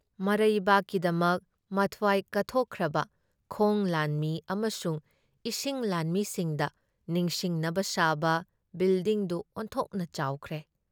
ꯃꯔꯩꯕꯥꯛꯀꯤꯗꯃꯛ ꯃꯊꯋꯥꯏ ꯀꯠꯊꯣꯛꯈ꯭ꯔꯕ ꯈꯣꯡ ꯂꯥꯟꯃꯤ ꯑꯃꯁꯨꯡ ꯏꯁꯤꯡ ꯂꯥꯟꯃꯤꯁꯤꯡꯗ ꯅꯤꯁꯤꯡꯅꯕ ꯁꯥꯕ ꯕꯤꯜꯗꯤꯡꯗꯨ ꯑꯣꯟꯊꯣꯛꯅ ꯆꯥꯎꯈ꯭ꯔꯦ ꯫